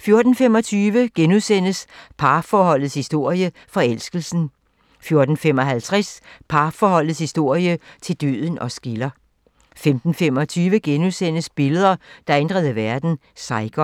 14:25: Parforholdets historie -forelskelsen * 14:55: Parforholdets historie - til døden os skiller 15:25: Billeder, der ændrede verden: Saigon *